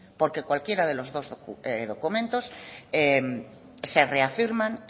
porque cualquiera de los dos documentos se reafirman